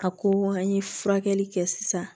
A ko an ye furakɛli kɛ sisan